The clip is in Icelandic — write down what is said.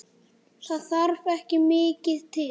Það þarf ekki mikið til?